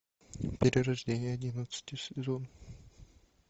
перерождение одиннадцатый сезон